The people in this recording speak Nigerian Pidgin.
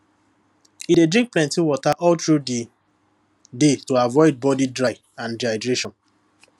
e dey drink plenty water all through the day to avoid body dry and dehydration